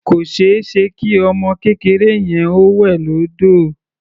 Kò ṣeéṣe kí ọmọ kékeré yẹn ó wẹ̀ lódò.